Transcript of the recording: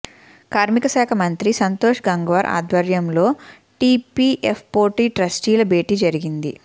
కార్మికశాఖ మంత్రి సంతోష్ గంగ్వార్ ఆధ్వర్యంలో ఈపీఎఫ్వో ట్రస్టీల భేటీ జరిగింది